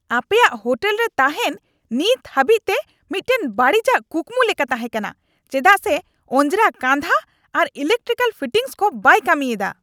ᱟᱯᱮᱭᱟᱜ ᱦᱳᱴᱮᱞ ᱨᱮ ᱛᱟᱦᱮᱱ ᱱᱤᱛ ᱦᱟᱹᱵᱤᱡᱛᱮ ᱢᱤᱫᱴᱟᱝ ᱵᱟᱹᱲᱤᱚᱡ ᱠᱩᱠᱢᱩ ᱞᱮᱠᱟ ᱛᱟᱦᱮᱸᱠᱟᱱᱟ ᱪᱮᱫᱟᱜ ᱥᱮ ᱚᱡᱨᱟ ᱠᱟᱸᱫᱦᱟ ᱟᱨ ᱤᱞᱮᱠᱴᱨᱤᱠᱟᱞ ᱯᱷᱤᱴᱤᱝᱥ ᱠᱚ ᱵᱟᱭ ᱠᱟᱹᱢᱤᱭᱮᱫᱟ ᱾